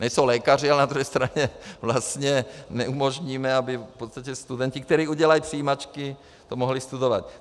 Nejsou lékaři, ale na druhé straně vlastně neumožníme, aby v podstatě studenti, kteří udělají přijímačky, to mohli studovat.